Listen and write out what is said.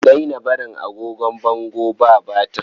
A daina barin agogon bango ba batir.